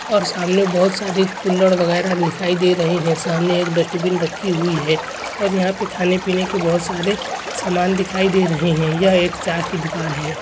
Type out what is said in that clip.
और सामने बहुत सारी कुल्हड़ वगैरा दिखाई दे रहे हैं सामने एक डस्टबिन रखी हुई है और यहां पे खाने-पीने की बहुत सारे सामान दिखाई दे रहे हैं यह एक चा की दुकान है।